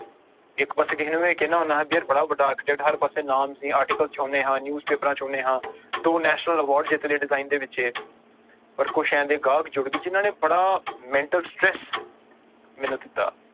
ਇੱਕ ਪਾਸੇ ਕਿਸੇ ਨੂੰ ਮੈਂ ਕਹਿਨਾ ਹੁਨਾ ਵੀ ਯਾਰ ਬੜਾ ਵੱਡਾ architect ਹਰ ਪਾਸੇ ਨਾਮ ਸੀ article ਚ ਆਉਂਦੇ ਹਾਂ news ਪੇਪਰਾਂ ਚ ਆਉਂਦੇ ਹਾਂ ਦੋ national award ਜਿੱਤ ਲਏ design ਦੇ ਵਿੱਚ ਪਰ ਕੁਛ ਇਹ ਜਿਹੇ ਗਾਹਕ ਜੁੜ ਗਏ ਜਿਹਨਾਂ ਨੇ ਬੜਾ mental stress ਮੈਨੂੰ ਦਿੱਤਾ।